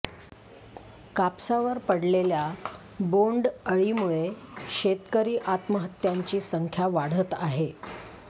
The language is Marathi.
कापसावर पडलेल्या बोंडअळीमुळे शेतकरी आत्महत्यांची संख्या वाढत आहे